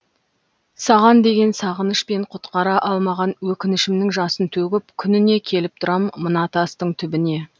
саған деген сағыныш пен құтқара алмаған өкінішімнің жасын төгіп күніне келіп тұрам мына тастың түбіне